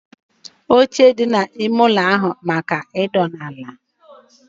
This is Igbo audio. Oche dị n'ime ime ụlọ bụ maka ịnọdụ ala